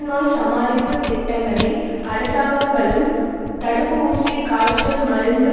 நோய் சமாளிப்புத் திட்டங்களை அரசாங்கங்களும் தடுப்பு ஊசி காய்ச்சல் மருந்து